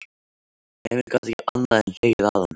Emil gat ekki annað en hlegið að honum.